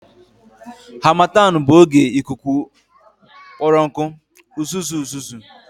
Harmattan bụ oge ikuku kpọrọ nkụ, uzuzu uzuzu